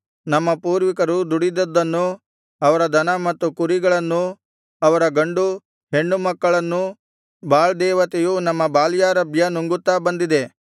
ನಮ್ಮ ಪೂರ್ವಿಕರು ದುಡಿದದ್ದನ್ನೂ ಅವರ ದನ ಮತ್ತು ಕುರಿಗಳನ್ನೂ ಅವರ ಗಂಡು ಹೆಣ್ಣು ಮಕ್ಕಳನ್ನೂ ಬಾಳ್ ದೇವತೆಯು ನಮ್ಮ ಬಾಲ್ಯಾರಭ್ಯ ನುಂಗುತ್ತಾ ಬಂದಿದೆ